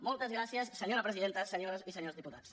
moltes gràcies senyora presidenta senyores i senyors diputats